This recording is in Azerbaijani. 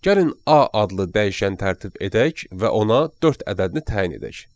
Gəlin A adlı dəyişən tərtib edək və ona dörd ədədini təyin edək.